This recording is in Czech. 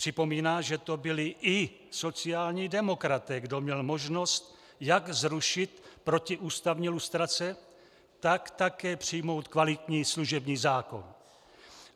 Připomíná, že to byli i sociální demokraté, kdo měl možnost jak zrušit protiústavní lustrace, tak také přijmout kvalitní služební zákon.